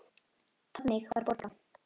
Þannig var Borga.